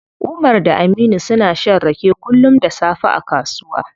Umar da Aminu suna shan rake kullum da safe a kasuwa.